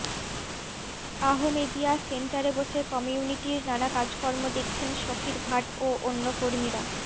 আহমেদীয়া সেন্টারে বসে কমিউনিটির নানা কাজকর্ম দেখছেন শফির ভাট ও অন্য কর্মীরা